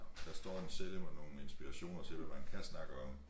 Der står en seddel med nogle inspirationer til hvad man kan snakke om